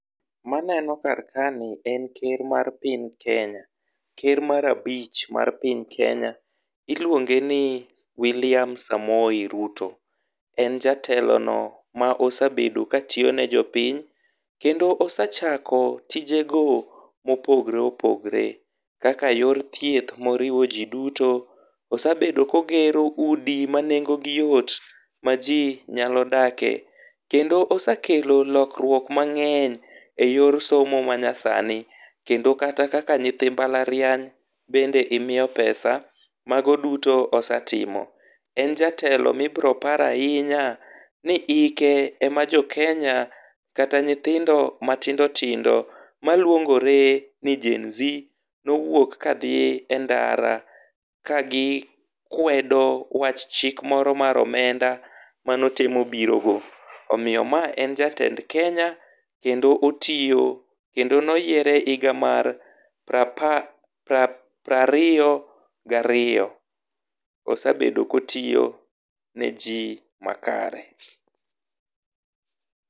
maneno kar kani en ker mar piny kenya, ker mar abich mar piny kenya iluonge ni wiliam samoi Ruto ,en jatelo no mosabedo katiyo ne jopiny kode osachako tije go mopogore opogore kaka yor thieth moriwo ji duto ,osabedo kog ero udi ma nengo gi yot ma ji nyalo dakie kendo osekelo lokruok mang'eny e yor somo manyasani kendo kata kaka nyithi mbalariany bende imiyo pesa, mago duto osetimo ,en jatelo mibiro par ahinya ni hike ema jokenya kata nyithindo matindo tindo maluongore ni GEN Z nowuok kadhi e ndara ka gi kwedo wach chik moro mar omenda mano temo biro go ,omiyo ma en jatend kenya kendo otiyo kendo noyiere e higa mar pra par pra riyo gariyo ,osebedo kotiyo ne ji makare,.